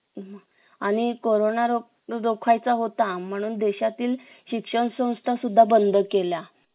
आणि कोरोना रोखायचा होता म्हणून देशातील शिक्षण संस्था सुद्धा बंद केल्या